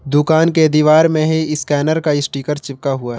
दुकान के दीवार में ही स्कैनर का स्टीकर चिपका हुआ--